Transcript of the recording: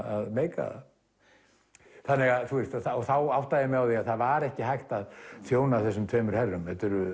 að meika það þá áttaði ég mig á því að það var ekki hægt að þjóna þessum tveimur herrum